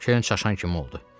Kerin çaşan kimi oldu.